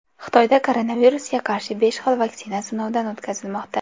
Xitoyda koronavirusga qarshi besh xil vaksina sinovdan o‘tkazilmoqda.